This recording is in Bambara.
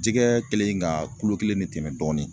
Jɛgɛ kɛlen ka kulo kelen ne tɛmɛ dɔɔni